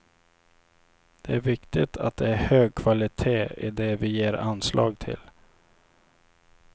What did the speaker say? Det är viktigt att det är hög kvalitet i det vi ger anslag till.